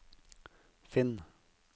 finn